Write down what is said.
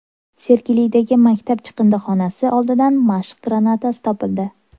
Sergelidagi maktab chiqindixonasi oldidan mashq granatasi topildi.